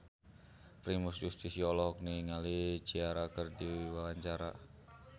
Primus Yustisio olohok ningali Ciara keur diwawancara